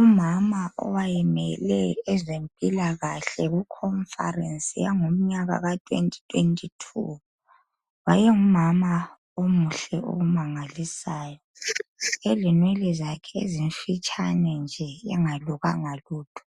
Umama owayemele ezempilakahle kukhomfarensi yangomyaka ka2022, wayengumama omuhle okumangalisayo, elenwele zakhe ezimfitshane nje engalukanga lutho,